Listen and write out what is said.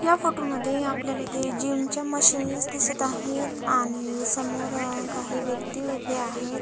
या फोटो मध्ये आपल्याला येथे जिमच्या मशीनस दिसत आहेत आणि समोर काही व्यक्ती उभ्या आहेत.